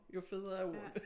Jo federe er ord